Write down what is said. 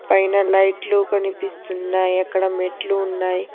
ఫైన లైట్లు కనిపిస్తున్నాయి అక్కడ మెట్లు ఉన్నాయి.